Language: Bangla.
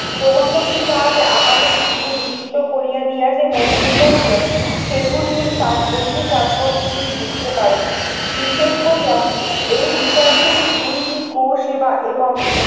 প্রবন্ধগুলি তাহাকে আপাত দৃষ্টিতে বিস্মিত করিয়া দিয়া যে মনে হইয়াছিল সেগুলির তাপ গভীর তাৎপর্য তিনি বুঝতে পারেন। বিশেষ করিয়া এই বিষয়গুলির দুইটি কোষ এবং